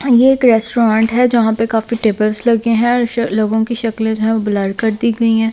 ये एक रेस्टोरेंट है जहां पे काफी टेबल्स लगे हैं लोगों की शक्ल जो है वो ब्लर कर दी गई है।